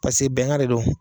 Pase bɛnkan de don